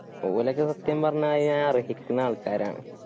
ഓലൊക്കെ സത്യം പറഞ്ഞ അത് അർഹിക്കുന്ന ആൾക്കാരാണ്